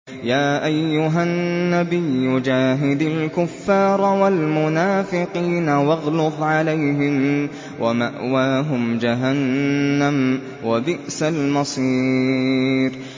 يَا أَيُّهَا النَّبِيُّ جَاهِدِ الْكُفَّارَ وَالْمُنَافِقِينَ وَاغْلُظْ عَلَيْهِمْ ۚ وَمَأْوَاهُمْ جَهَنَّمُ ۖ وَبِئْسَ الْمَصِيرُ